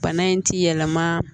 Bana in ti yɛlɛma